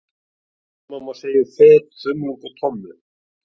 Sama má segja um fet, þumlung og tommu.